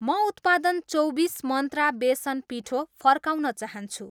म उत्पादन चौबिस मन्त्रा बेसन पिठो फर्काउन चाहन्छु